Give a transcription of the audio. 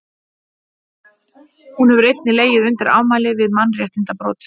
hún hefur einnig legið undir ámæli fyrir mannréttindabrot